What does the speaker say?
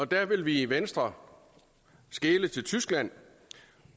der vil vi i venstre skele til tyskland